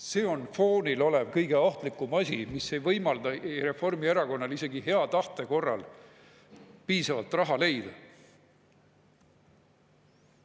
See on foonil olev kõige ohtlikum asi, mis ei võimalda Reformierakonnal isegi hea tahte korral piisavalt raha leida.